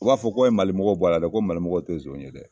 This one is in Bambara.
U b'a fɔ ko a ye Mali mɔgɔw bɔ a la dɛ! ko malimɔgɔw tɛ nson ye dɛ !